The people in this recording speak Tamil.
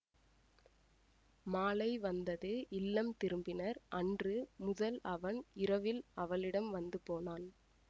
மாலை வந்தது இல்லம் திரும்பினர் அன்று முதல் அவன் இரவில் அவளிடம் வந்து போனான்